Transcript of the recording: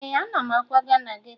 Ee, ana m akwaga na geto